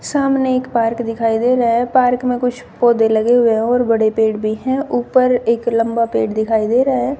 सामने एक पार्क दिखाई दे रहा है पार्क में कुछ पौधे लगे हुए है और बड़े पेड़ भी है ऊपर एक लंबा पेड़ दिखाई दे रहा है।